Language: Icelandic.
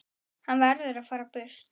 Hann verður að fara burt.